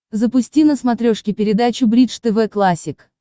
запусти на смотрешке передачу бридж тв классик